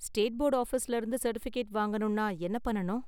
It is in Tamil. ஸ்டேட் போர்டு ஆஃபீஸ்ல இருந்து சர்டிபிகேட் வாங்கணும்னா என்ன பண்ணனும்?